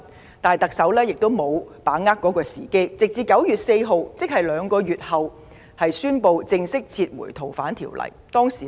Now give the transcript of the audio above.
然而，特首沒有把握時機，直至9月4日才宣布正式撤回《條例草案》。